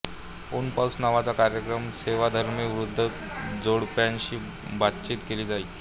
ऊनपाऊस नावाच्या कार्यक्रमात सेवाधर्मी वृद्ध जोडप्यांशी बातचीत केली जाई